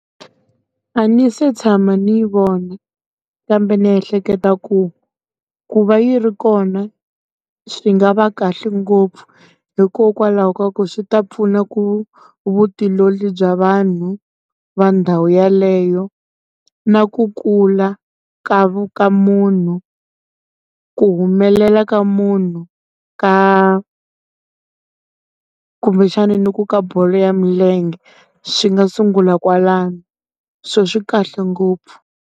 A ni se tshama ni yi vona kambe ni ehleketa ku ku va yi ri kona swi nga va kahle ngopfu hikokwalaho ka ku swi ta pfuna ku vutiolori bya vanhu va ndhawu yaleyo na ku kula ka ka munhu ku humelela ka munhu ka kumbexana ni ku ka bolo ya milenge swi nga sungula kwalano swo swikahle ngopfu.